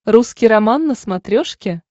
русский роман на смотрешке